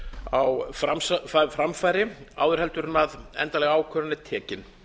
á framfæri áður heldur en endanleg ákvörðun er tekin